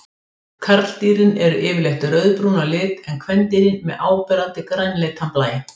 Karldýrin eru yfirleitt rauðbrún að lit en kvendýrin með áberandi grænleitan blæ.